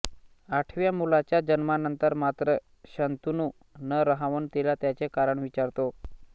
आठव्या मुलाच्या जन्मानंतर मात्र शंतनू न रहावून तिला त्याचे कारण विचारतो